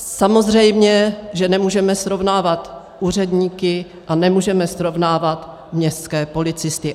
Samozřejmě že nemůžeme srovnávat úředníky a nemůžeme srovnávat městské policisty.